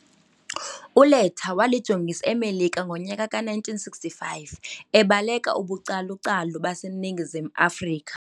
ULetta walijongisa eMelika ngo nyaka ka 1965 ebaleka ubucalucalu base ningizim afrika.